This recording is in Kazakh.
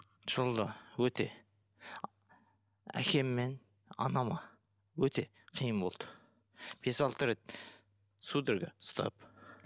жолда өте әкем мен анама өте қиын болды бес алты рет судорога ұстап